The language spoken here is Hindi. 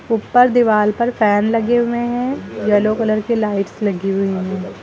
ऊपर दीवाल पर फैन लगे हुए हैं येलो कलर के लाइट्स लगी हुई हैं।